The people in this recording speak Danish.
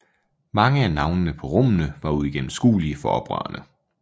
Mange af navnene på rummene var uigennemskuelige for oprørerne